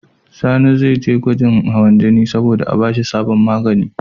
Sani ze je gwajin hawan jini sabo da a bashi sabon magani